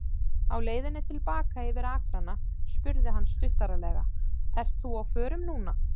Á leiðinni til baka yfir akrana spurði hann stuttaralega: Ert þú á förum núna?